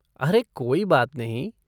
अरे कोई बात नहीं।